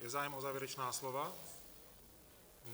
Je zájem o závěrečná slova?